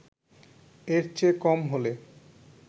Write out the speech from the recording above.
এর চেয়ে কম হলে